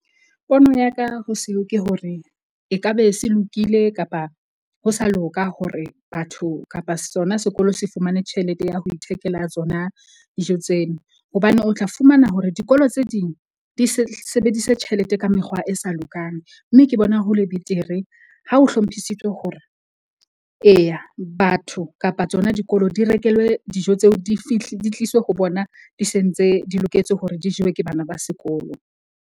Pono ya ka ho seo ke hore ekabe se lokile kapa ho sa loka hore batho kapa sona sekolo se fumane tjhelete ya ho ithekela tsona dijo tseno. Hobane o tla fumana hore dikolo tse ding di sebedise tjhelete ka mekgwa e sa lokang. Mme ke bona hole betere ha o hlomphisitswe hore eya batho kapa tsona dikolo di rekelwe dijo tseo. Di di tliswe ho bona di sentse, di loketse hore di jewe ke bana ba sekolo.